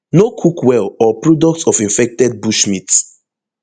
no cook well or products of infected bushmeat